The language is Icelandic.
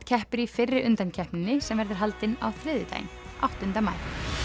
keppir í fyrri undankeppninni sem verður haldin á þriðjudaginn áttunda maí